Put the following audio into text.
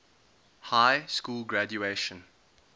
high school graduation